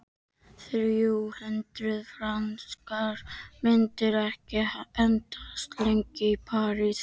Þrjú hundruð frankar myndu ekki endast lengi í París.